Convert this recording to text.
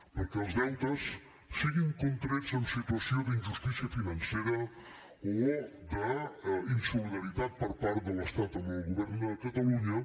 perquè els deutes siguin contrets en situació d’injustícia financera o d’insolidaritat per part de l’estat amb el govern de catalunya